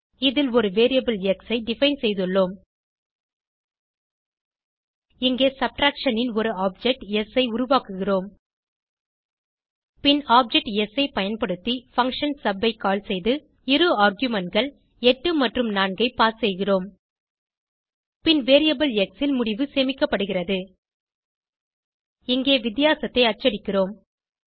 இதில் ஒரு variable X ஐ டிஃபைன் செய்துள்ளோம் இங்கே சப்ட்ராக்ஷன் ன் ஒரு ஆப்ஜெக்ட் ஸ் ஐ உருவாக்குகிறோம் பின் ஆப்ஜெக்ட் ஸ் ஐ பயன்படுத்தி பங்ஷன் சப் ஐ கால் செய்து இரு argumentகள் 8 மற்றும் 4 ஐ பாஸ் செய்கிறோம் பின் வேரியபிள் எக்ஸ் ல் முடிவு சேமிக்கப்படுகிறது இங்கே வித்தியாசத்தை அச்சடிக்கிறோம்